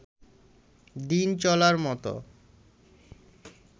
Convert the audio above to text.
দিন চলার মত